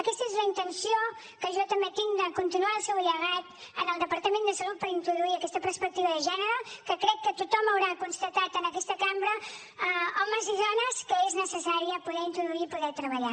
aquesta és la intenció que jo també tinc de continuar el seu llegat en el departament de salut per introduir aquesta perspectiva de gènere que crec que tothom haurà constatat en aquesta cambra homes i dones que és necessari poder introduir i poder treballar